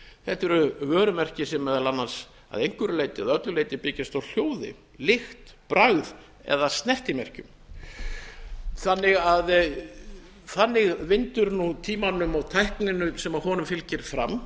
þetta eru vörumerki sem meðal annars að einhverju eða öllu leyti byggjast á hljóði lykt bragði og snertimerkjum þannig vindur nú tímanum og tækninni sem honum fylgir fram